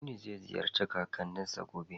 Aminu zai ziyarci kakanninsa gobe.